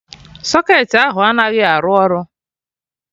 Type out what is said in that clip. Socketị ahụ anaghị arụ ọrụ